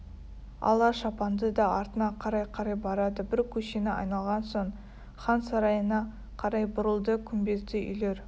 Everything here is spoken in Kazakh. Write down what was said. ала шапанды да артына қарай-қарай барады бір көшені айналған соң хан сарайына қарай бұрылды күмбезді үйлер